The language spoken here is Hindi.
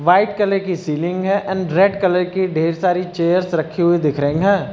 व्हाइट कलर की सीलिंग है एंड रेड कलर की ढेर सारी चेयर्स रखी हुई दिख रही हैं।